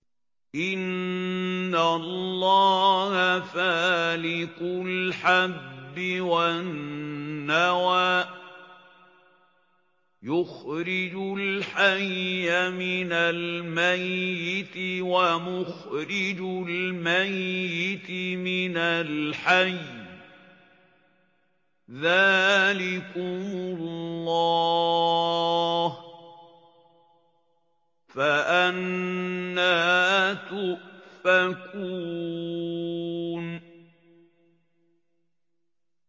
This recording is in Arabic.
۞ إِنَّ اللَّهَ فَالِقُ الْحَبِّ وَالنَّوَىٰ ۖ يُخْرِجُ الْحَيَّ مِنَ الْمَيِّتِ وَمُخْرِجُ الْمَيِّتِ مِنَ الْحَيِّ ۚ ذَٰلِكُمُ اللَّهُ ۖ فَأَنَّىٰ تُؤْفَكُونَ